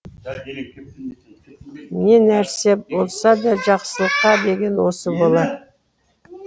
не нәрсе болсада жақсылыққа деген осы болар